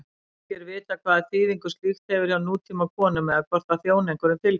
Ekki er vitað hvaða þýðingu slíkt hefur hjá nútímakonum eða hvort það þjóni einhverjum tilgangi.